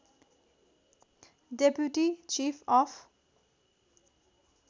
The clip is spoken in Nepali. deputy chief of